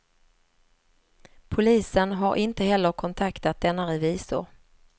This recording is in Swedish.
Polisen har inte heller kontaktat denna revisor.